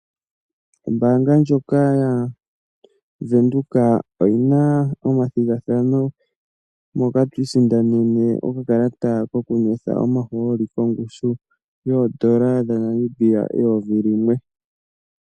Ombaanga yaVenduka oyi na ethigathano moka to isindanene okakalata kokunwetha omahooli kongushu yoodola dhaNamibia eyovi limwe (N$ 1000).